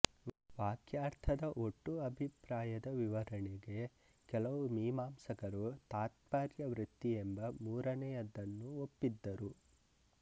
ವಾಕ್ಯಾರ್ಥದ ಒಟ್ಟು ಅಭಿಪ್ರಾಯದ ವಿವರಣೆಗೆ ಕೆಲವು ಮೀಮಾಂಸಕರು ತಾತ್ಪರ್ಯವೃತ್ತಿಯೆಂಬ ಮೂರನೆಯದನ್ನೂ ಒಪ್ಪಿದ್ದರು